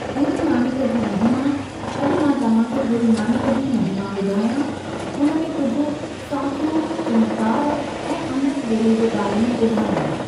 गुरुनानक जी महिमा, अॼु मां तव्हां खे गुरुनानक जी महिमा ॿुधायां, उन में कुझु साखियूं चमत्कार ऐ अमृत वेले जे बारे में ॿुधायांव।